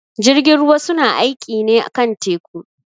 Jirgin ruwa su na aiƙi ne kan teku.